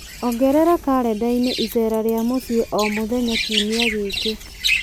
ongerera karenda-inĩ iceera rĩa mũciĩ o mũthenya kiumia gĩkĩ